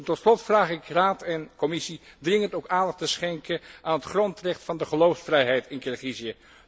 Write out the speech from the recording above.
Tot slot vraag ik Raad en Commissie dringend om aandacht te schenken aan het grondrecht van de geloofsvrijheid in Kirgizië.